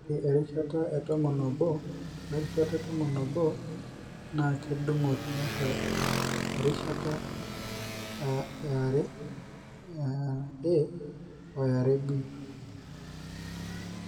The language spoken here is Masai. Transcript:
ore erishata 11 we rishata 11 na kedungo tiatua erishata IIA o IIB